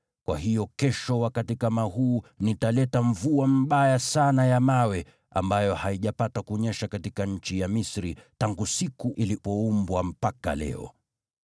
Kwa hiyo, kesho wakati kama huu nitaleta mvua mbaya sana ya mawe ambayo haijapata kunyesha katika nchi ya Misri, tangu siku ilipoumbwa mpaka leo.